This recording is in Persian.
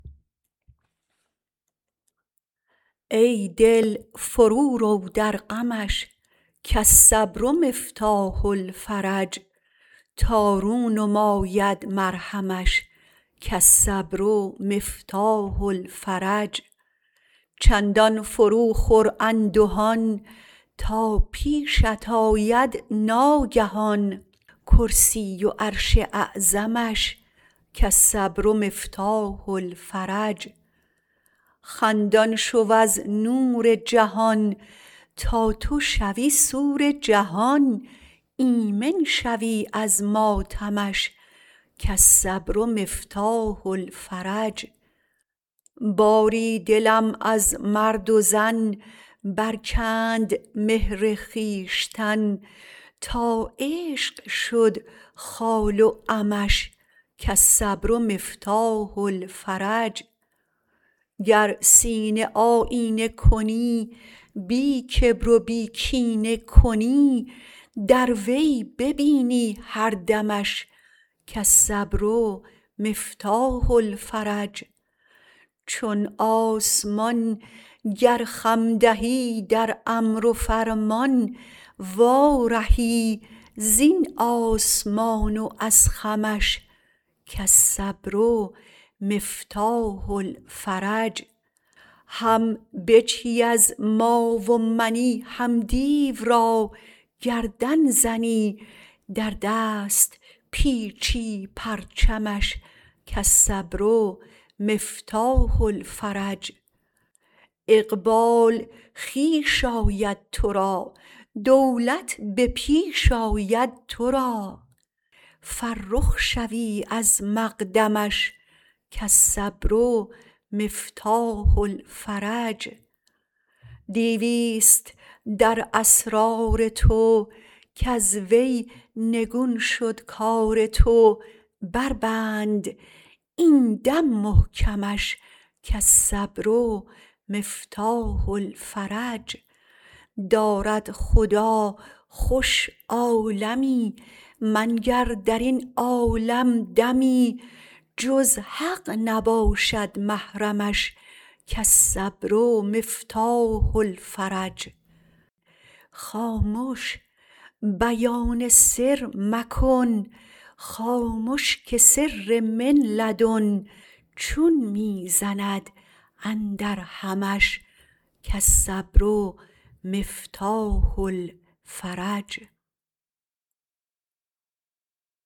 ای دل فرو رو در غمش کالصبر مفتاح الفرج تا رو نماید مرهمش کالصبر مفتاح الفرج چندان فرو خور اندهان تا پیشت آید ناگهان کرسی و عرش اعظمش کالصبر مفتاح الفرج خندان شو از نور جهان تا تو شوی سور جهان ایمن شوی از ماتمش کالصبر مفتاح الفرج باری دلم از مرد و زن برکند مهر خویشتن تا عشق شد خال و عمش کالصبر مفتاح الفرج گر سینه آیینه کنی بی کبر و بی کینه کنی در وی ببینی هر دمش کالصبر مفتاح الفرج چون آسمان گر خم دهی در امر و فرمان وا رهی زین آسمان و از خمش کالصبر مفتاح الفرج هم بجهی از ما و منی هم دیو را گردن زنی در دست پیچی پرچمش کالصبر مفتاح الفرج اقبال خویش آید تو را دولت به پیش آید تو را فرخ شوی از مقدمش کالصبر مفتاح الفرج دیوی ست در اسرار تو کز وی نگون شد کار تو بر بند این دم محکمش کالصبر مفتاح الفرج دارد خدا خوش عالمی منگر در این عالم دمی جز حق نباشد محرمش کالصبر مفتاح الفرج خامش بیان سر مکن خامش که سر من لدن چون می زند اندرهمش کالصبر مفتاح الفرج